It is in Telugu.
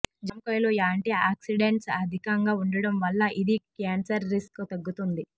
జామకాయలో యాంటీఆక్సిడెంట్స్ అధికంగా ఉండటం వల్ల ఇది క్యాన్సర్ రిస్క్ తగ్గిస్తుంది